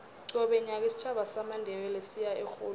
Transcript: qobe nyaka isitjhaba samandebele siya erholweni